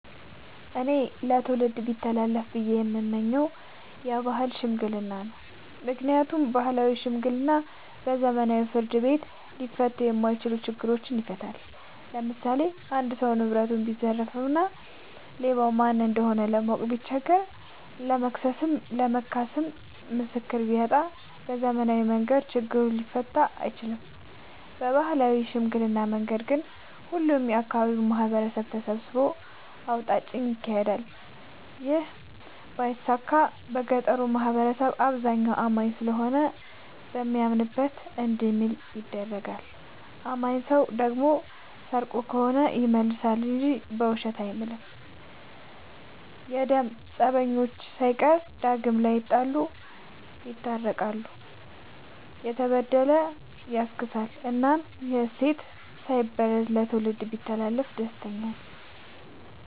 እኔ ለትውልድ ቢተላለፍ ብዬ የምመኘው የባህል ሽምግልና ነው። ምክንያቱም ባህላዊ ሽምግልና በዘመናዊ ፍርድ ቤት ሊፈቱ የማይችሉ ነገሮችን ይፈታል። ለምሳሌ አንድ ሰው ንብረቱን ቢዘረፍ እና ማን እንደሆነ ለማወቅ ቢቸገር ለመክሰስም ለመካስም ምስክር ቢያጣ በዘመናዊ መንገድ ችግሩ ሊፈታ አይችልም። በባህላዊ ሽምግልና መንገድ ግን ሁሉም የአካባቢው ማህበረሰብ ተሰብስቦ አውጣጭ ይካሄዳል ይህ ባይሳካ የገጠሩ ማህበረሰብ አብዛኛው አማኝ ስለሆነ በሚያምንበት እንዲምል ይደረጋል። አማኝ ሰው ደግሞ ሰርቆ ከሆነ ይመልሳ እንጂ በውሸት አይምልም። የደም ፀበኞችን ሳይቀር ዳግም ላይጣሉ ይስታርቃል፤ የተበደለ ያስክሳል እናም ይህ እሴት ሳይበረዝ ለትውልድ ቢተላለፍ ደስተኛ ነኝ።